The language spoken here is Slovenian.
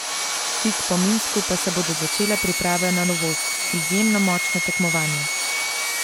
Tik po Minsku pa se bodo začele priprave na novost, izjemno močno tekmovanje.